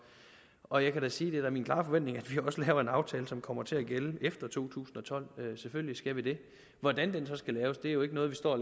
og jeg kan sige at er min klare forventning at vi også laver en aftale som kommer til at gælde efter to tusind og tolv selvfølgelig skal vi det hvordan den så skal laves er jo ikke noget vi står og